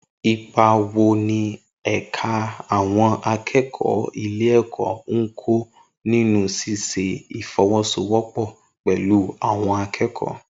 Ipa wo ni ẹ̀ka àwọn akẹ́kọ̀ọ́ ilé-ẹ̀kọ́ ń kó nínú ṣíṣe ìfọwọ́sowọ́pọ̀ pẹ̀lú àwọn akẹ́kọ̀ọ